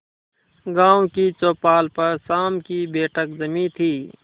गांव की चौपाल पर शाम की बैठक जमी थी